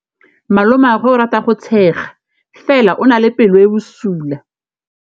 Malomagwe o rata go tshega fela o na le pelo e e bosula.